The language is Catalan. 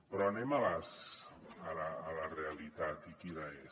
però anem a la realitat i quina és